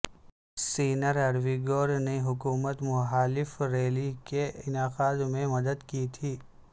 sinner ارویگور نے حکومت محالف ریلی کے انعقاد میں مدد کی تھی